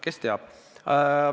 Kes teab.